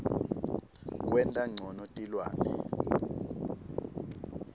kwenta ncono tilwane